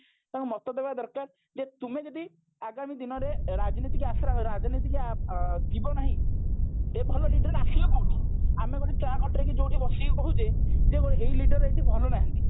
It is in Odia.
ତାଙ୍କ ମାତା ଦବା ଦରକାର ଯେ ତୁମେ ଯଦି ଆଗାମୀ ଦିନରେ ରାଜନୀତିକି ଆଁ ରାଜନୀତିକି ଯିବା ନାହିଁ ଭଲ leader ଆସିବେ କଉଠୁ ଆମେ ଗୋଟେ ଚା ଖଟିରେ କି ଯୋଉଠି ବସିକି କହୁଛେ ଯେ ଏଇ leader ଏଇଠି ଭଲ ନାହାନ୍ତି